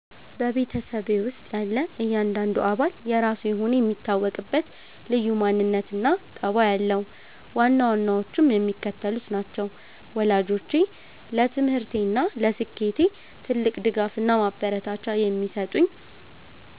በቤተሰቤ ውስጥ ያለ እያንዳንዱ አባል የራሱ የሆነ የሚታወቅበት ልዩ ማንነትና ጠባይ አለው፤ ዋና ዋናዎቹም የሚከተሉት ናቸው፦ ወላጆቼ፦ ለትምህርቴና ለስኬቴ ትልቅ ድጋፍና ማበረታቻ የሚሰጡኝ፣